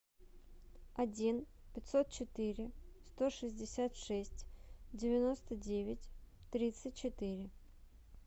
один пятьсот четыре сто шестьдесят шесть девяносто девять тридцать четыре